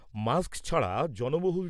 mask ছাড়া জনবহুল